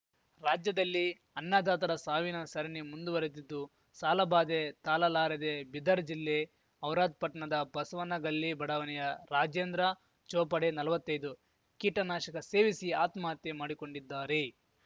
ರಾಜ್ಯದಲ್ಲಿ ಅನ್ನದಾತರ ಸಾವಿನ ಸರಣಿ ಮುಂದುವರೆದಿದ್ದು ಸಾಲಬಾಧೆ ತಾಲಲಾರದೇ ಬೀದರ್‌ ಜಿಲ್ಲೆ ಔರಾದ್‌ ಪಟ್ನದ ಬಸವನಗಲ್ಲಿ ಬಡಾವಣೆಯ ರಾಜೇಂದ್ರ ಚೋಪಡೆ ನಲ್ವತ್ತೈದು ಕೀಟನಾಶಕ ಸೇವಿಸಿ ಆತ್ಮಹತ್ಯೆ ಮಾಡಿಕೊಂಡಿದ್ದಾರೆ